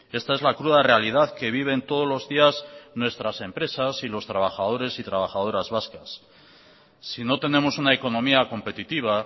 esta es la cruda realidad que viven todos los días nuestras empresas y los trabajadores y trabajadoras vascas si no tenemos una economía competitiva